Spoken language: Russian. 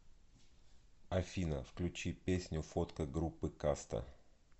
афина включи песню фотка группы каста